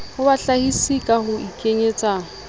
ho bahlahisi ka ho ikenyetsa